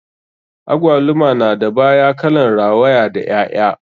Agwaluma na da baya kalan rawaya da ƴaƴa.